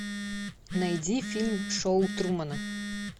найди фильм шоу трумана